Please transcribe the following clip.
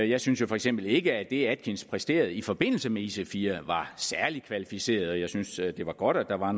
jeg synes jo for eksempel ikke at det atkins præsterede i forbindelse med ic4 var særlig kvalificeret og jeg synes at det var godt at der var